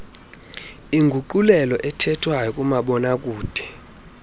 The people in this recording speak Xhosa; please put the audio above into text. inguqulelo yokuthethwayo kumabonakude